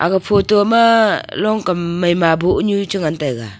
aga photo ma longkam maima boneu chu ngan taiga.